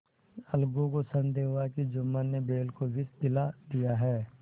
अलगू को संदेह हुआ कि जुम्मन ने बैल को विष दिला दिया है